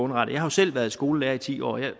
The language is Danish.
har jo selv været skolelærer i ti år der er